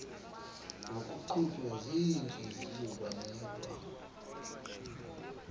ngokuqhutywa ziintliziyo banikwa